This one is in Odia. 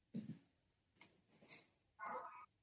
noise